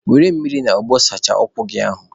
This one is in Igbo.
Were mmiri na ogbo sachaa ụkwụ gị ahụ!